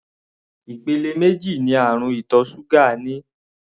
Ìpele méjì ní àrùn ìtọ̀ ṣúgà ní.